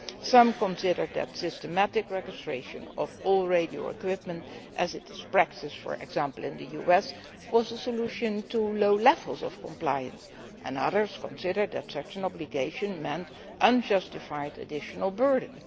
Some people consider that systematic registration of all radio equipment, as is practised for example in the US, was a solution to low levels of compliance, while others consider that such an obligation meant an unjustified additional burden.